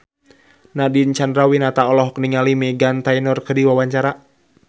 Nadine Chandrawinata olohok ningali Meghan Trainor keur diwawancara